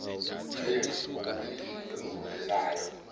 grilled okubilisiwe okungenawo